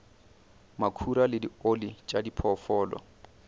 makhura le dioli tša diphoofolo